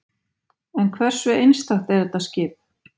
En hversu einstakt er þetta skip?